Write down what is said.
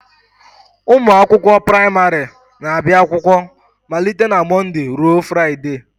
Ụmụ akwụkwọ praịmarị na-abịa akwụkwọ malite na Mọnde ruo Fraịdee